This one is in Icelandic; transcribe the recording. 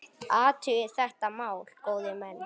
Athugið þetta mál, góðir menn!